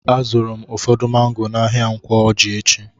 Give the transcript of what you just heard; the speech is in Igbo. A zụrụ m ụfọdụ mango n'ahia Nkwo Ọjị echi.